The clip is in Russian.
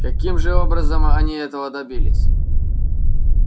каким же образом они этого добились